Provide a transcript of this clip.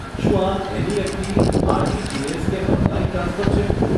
શું આ NEFT, RTGS કે ઓનલાઈન ટ્રાન્સફર છે?